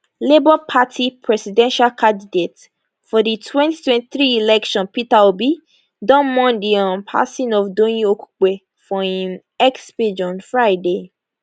labour party presidential candidate for di 2023 election peter obi don mourn di um passing of doyin okupe for im x page on friday